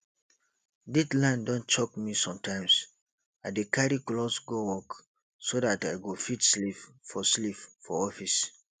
deadline don choke me sometimes i dey carry cloth go work so dat i go fit sleep for sleep for office